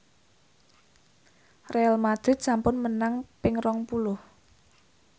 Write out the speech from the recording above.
Real madrid sampun menang ping rong puluh